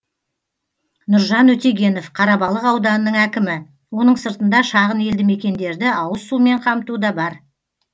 нұржан өтегенов қарабалық ауданының әкімі оның сыртында шағын елді мекендерді ауызсумен қамту да бар